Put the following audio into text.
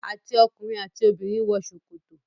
àti ọkùnrin àti obìnrin wọ sokoto.